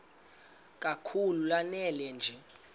kakhulu lanela nje